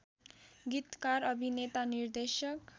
गीतकार अभिनेता निर्देशक